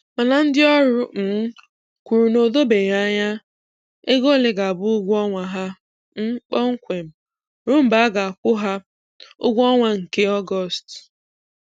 Mana ndị ọrụ um kwuru na o dobeghi anya ego ole ga-abụ ụgwọ ọnwa ha um kpọmkwem ruo mgbe a ga-akwụ ha ụgwọ ọnwa nke Ọgọstụ